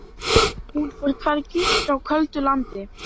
Hún fór hvergi, frá köldu landi.